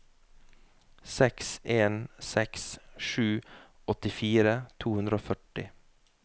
seks en seks sju åttifire to hundre og førti